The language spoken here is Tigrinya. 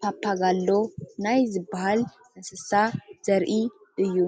ፓፓጋሎ ናይ ዝባሃል እንስሳ ዘርኢ እዩ፡፡